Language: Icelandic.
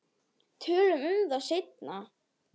Tölum um það seinna.